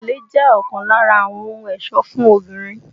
Gèlè jẹ́ ọ̀kan lára àwọn ohun ẹ̀sọ́ fún obìnrin